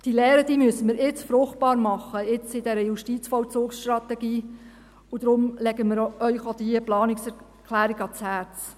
Diese Lehren müssen wir jetzt fruchtbar machen, jetzt in dieser JVS, und deshalb legen wir Ihnen auch diese Planungserklärung ans Herz.